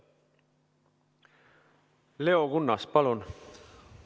Leo Kunnas, palun!